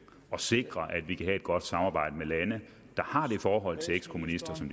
og sikre at vi kan have et godt samarbejde med lande der har det forhold til ekskommunister som